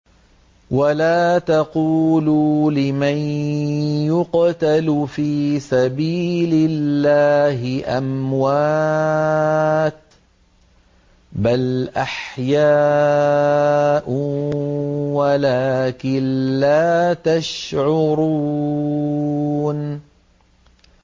وَلَا تَقُولُوا لِمَن يُقْتَلُ فِي سَبِيلِ اللَّهِ أَمْوَاتٌ ۚ بَلْ أَحْيَاءٌ وَلَٰكِن لَّا تَشْعُرُونَ